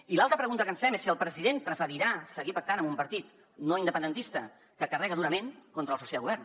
i l’altra pregunta que ens fem és si el president preferirà seguir pactant amb un partit no independentista que carrega durament contra el soci de govern